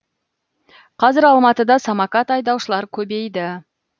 қазір алматыда самокат айдаушылар көбейді